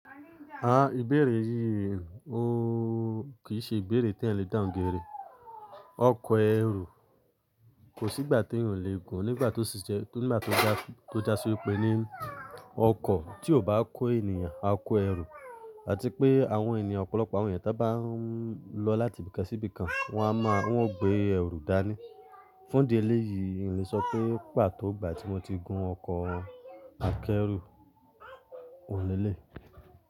À, ìbéèrè yìí ò kí ì ṣe ìbéèrè tí ẹ̀ n lè dàhun gerẹ. Ọkọ̀ ẹrù kò sí ìgbà tí yóò lè gùn nígbà tó já sórí pé ní ọkọ̀ tí ò bá kó ènìyàn á kó ẹrù àti pé àwọn ènìyàn ọ̀pọ̀lọpọ̀ àwọn ènìyàn tí wọ́n bá ń lọ láti ibìkan sí ibìkan wọ́n máa ń gbé ẹrù dání. Fún ìdí eléyìí, n lè sọ pé pà tó igbà tí mo ti gun ọkọ̀ akẹ́rù, òún lè léyi.